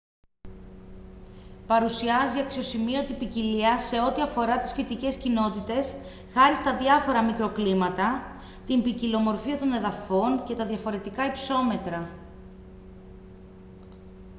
παρουσιάζει αξιοσημείωτη ποικιλία σε ό,τι αφορά τις φυτικές κοινότητες χάρη στα διαφορα μικροκλίματα την ποικιλομορφία των εδαφών και τα διαφορετικά υψόμετρα